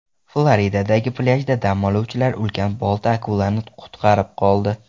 Floridadagi plyajda dam oluvchilar ulkan bolta-akulani qutqarib qoldi.